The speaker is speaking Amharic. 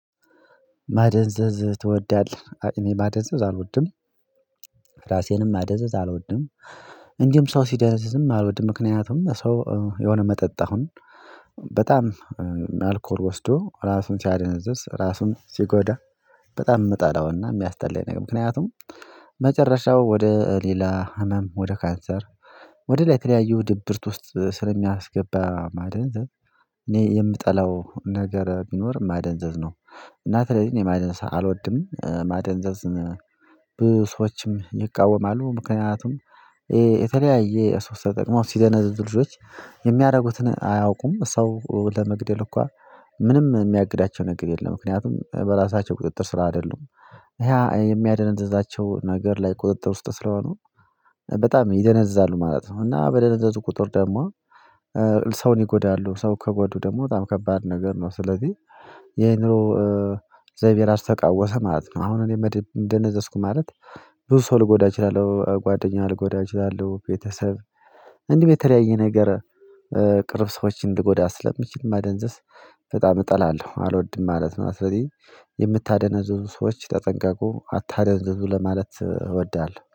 "ማደንዘዝ ትወዳለህ?" እኔ ማደንዘዝ አልወድም። ራሴንም ማደንዘዝ አልወድም፤ እንዲሁም ሰው ሲደነዘዝም አልወድም። ምክንያቱም ሰው የሆነ መጠጥ አሁን በጣም አልኮል ወስዶ ራሱን ሲያደነዝዝ ራሱን ሲጎዳ በጣም የምጠላውና የሚያስጠላኝ ነገር ምክንያቱም መጨረሻው ወደ ሌላ ህመም ወደ ካንሰር ወደ ላ የተለየዩ ድብርት ውስጥ ስለሚያስገባ ማደንዘዝ፤ እኔ የምጠላው ነገር ቢኖር ማደንዘዝ ነው። እና ስለዚህ እኔ ማደንዘዝ አልወድም። ማደንዘዝ ብዙ ሰዎችም ይቃወማሉ። ምክንያቱም የተለያዩ ሱስ ተጠቅመው ሲደነዝዙ ልጆች የሚያደርጉትን አያውቁም፤ ሰው ለመግደል እንኳ ምንም የሚያግዳቸው ነገር የለም። ምክንያቱም በራሳቸው ቁጥጥር ስራ አይደሉም። ያ የሚያደነዝዛቸው ነገር ላይ ቁጥጥር ውስጥ ስለሆኑ በጣም ይደነዝዛሉ ማለት ነው፤ እና በደነዘዙ ቁጥር ደግሞ ሰውን ይጎዳሉ፤ ሰው ከጎዱ ደግሞ በጣም ከባድ ነገር ነው። ስለዚህ የንሮ ዘይቤ ራሱ ተቃወሰ ማለት ነው። አሁን እኔ መድብ ደነዘዝኩ ማለት ብዙ ሰው ልጎዳ እችላለሁ፤ ጓደኛ ልጎዳ እችላለሁ፣ ቤተሰብ፣ እንዲህ በተለያየ ነገር ቅርብ ሰዎችን ልጎዳ ስለምችል ማደንዘስ በጣም እጠላለሁ አልወድም ማለት ነው። ስለዚህ የምታደነዝዙ ሰዎች ተጠንቀቁ አታደነዝዙ ለማለት እወዳለሁ።